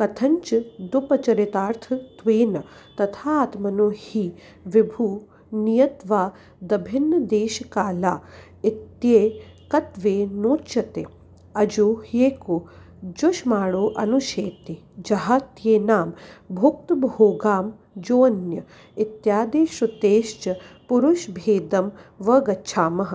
कथञ्चिदुपचरितार्थत्वेन तथा आत्मनो हि विभुनियत्वादभिन्नदेशकाला इत्येकत्वेनोच्यते अजो ह्येको जुषमाणोऽनुशेते जहात्येनां भुक्तभोगामजोऽन्य इत्यादिश्रुतेश्च पुरुषभेदमवगच्छामः